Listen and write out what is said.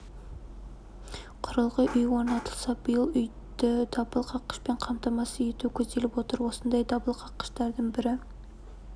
құрылғы үйге орнатылса биыл үйді дабыл қаққышпен қамтамасыз ету көзделіп отыр осындай дабыл қаққыштардың бірі